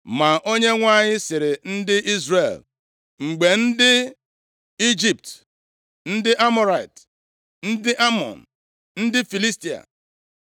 Ma Onyenwe anyị sịrị ndị Izrel, “Mgbe ndị Ijipt, ndị Amọrait, ndị Amọn, ndị Filistia,